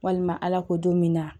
Walima ala ko don min na